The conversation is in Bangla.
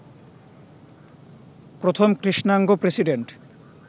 প্রথম কৃষ্ণাঙ্গ প্রেসিডেন্ট